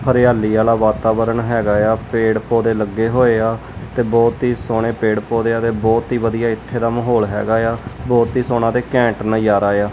ਹਰਿਆਲੀ ਵਾਲਾ ਵਾਤਾਵਰਨ ਹੈਗਾ ਆ ਪੇੜ ਪੌਦੇ ਲੱਗੇ ਹੋਏ ਆ ਤੇ ਬਹੁਤ ਹੀ ਸੋਹਣੇ ਪੇੜ ਪੌਦੇ ਆ ਤੇ ਬਹੁਤ ਹੀ ਵਧੀਆ ਇੱਥੇ ਦਾ ਮਾਹੌਲ ਹੈਗਾ ਆ ਬਹੁਤ ਹੀ ਸੋਹਣਾ ਤੇ ਘੈਂਟ ਨਜਾਰਾ ਆ।